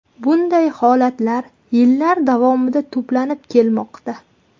Bunday holatlar yillar davomida to‘planib kelmoqda.